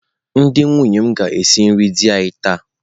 Ndị nwunye m ga-esi nri di anyị taa.